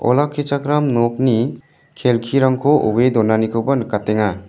olakkichakram nokni kelkirangko oe donanikoba nikatenga.